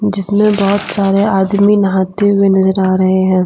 जिसमे बहुत सारे आदमी नहाते हुए नजर आ रहे हैं।